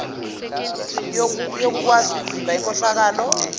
yokukwazi ukuvimba inkohlakalo